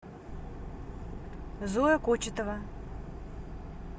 зоя кочетова